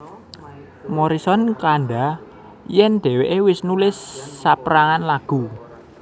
Morrison kandha yen dheweke wis nulis saperangan lagu